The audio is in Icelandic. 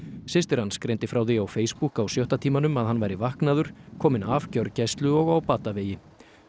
systir hann greindi frá því á Facebook á sjötta tímanum að hann væri vaknaður kominn af gjörgæslu og á batavegi